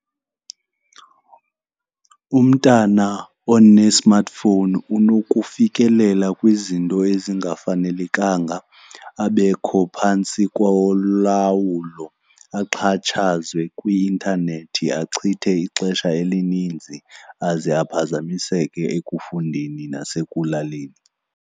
Umntana one-smartphone unokufikelela kwizinto ezingafanelekanga, abekho phantsi kolawulo axhatshazwe kwi-intanethi, achithe ixesha elininzi aze aphazamiseke ekufundeni nasekulaleni.